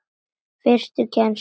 Fyrstu kennslu